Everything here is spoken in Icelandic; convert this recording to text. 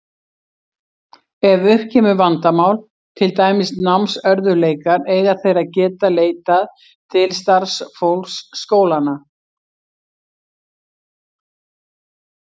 Ef upp kemur vandamál, til dæmis námsörðugleikar, eiga þeir að geta leitað til starfsfólks skólanna.